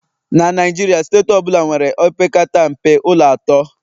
na Naijiria, steeti ọ bụla nwere opekata mpe ụlọ atọ